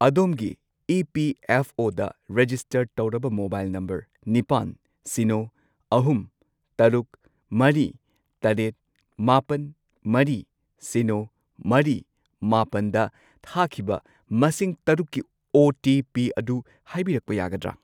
ꯑꯗꯣꯝꯒꯤ ꯏ.ꯄꯤ.ꯑꯦꯐ.ꯑꯣ.ꯗ ꯔꯦꯖꯤꯁꯇꯔ ꯇꯧꯔꯕ ꯃꯣꯕꯥꯏꯜ ꯅꯝꯕꯔ ꯅꯤꯄꯥꯟ, ꯁꯤꯅꯣ, ꯑꯍꯨꯝ, ꯇꯔꯨꯛ, ꯃꯔꯤ, ꯇꯔꯦꯠ, ꯃꯥꯄꯟ, ꯃꯔꯤ, ꯁꯤꯅꯣ, ꯃꯔꯤ, ꯃꯥꯄꯜꯗ ꯊꯥꯈꯤꯕ ꯃꯁꯤꯡ ꯇꯔꯨꯛꯀꯤ ꯑꯣ.ꯇꯤ.ꯄꯤ. ꯑꯗꯨ ꯍꯥꯏꯕꯤꯔꯛꯄ ꯌꯥꯒꯗ꯭ꯔ?